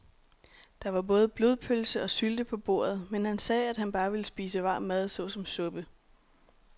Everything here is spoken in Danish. Der var både blodpølse og sylte på bordet, men han sagde, at han bare ville spise varm mad såsom suppe.